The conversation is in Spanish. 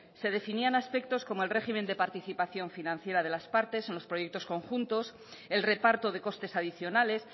se definían aspectos como el régimen de participación financiera de las partes o los proyectos conjuntos el reparto de costes adicionales